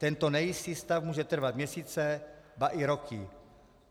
Tento nejistý stav může trvat měsíce, ba i roky.